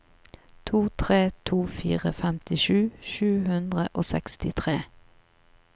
to tre to fire femtisju sju hundre og sekstitre